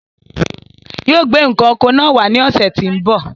Yóò gbé n̄ ǹkan oko náà wá ní ọ̀sẹ̀ tí ń bọ̀.